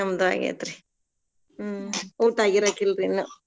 ಹೂ ನ್ರಿ ನಮ್ದು ಆಗೇತ್ರಿರಿ.